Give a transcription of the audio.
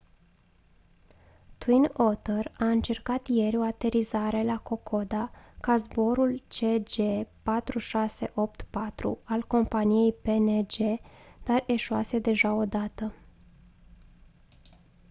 twin otter a încercat ieri o aterizare la kokoda ca zborul cg4684 al companiei png dar eșuase deja o dată